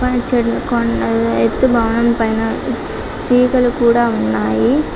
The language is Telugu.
పచ్చని కొండలు ఎత్తైన భవనం పైనా తీగల కూడా ఉన్నాయి.